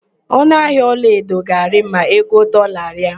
Ọnụahịa ọlaedo ga-arị ma ego dọọla rịa.